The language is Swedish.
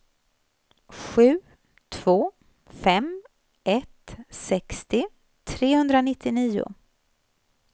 sju två fem ett sextio trehundranittionio